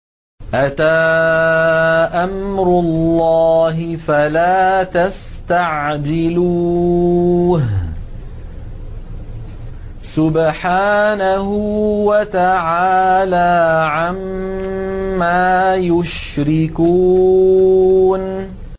أَتَىٰ أَمْرُ اللَّهِ فَلَا تَسْتَعْجِلُوهُ ۚ سُبْحَانَهُ وَتَعَالَىٰ عَمَّا يُشْرِكُونَ